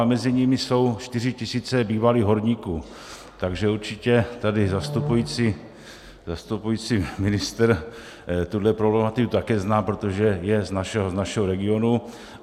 A mezi nimi jsou 4 tisíce bývalých horníků, takže určitě tady zastupující ministr tuhle problematiku také zná, protože je z našeho regionu.